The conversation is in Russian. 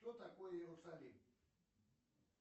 что такое иерусалим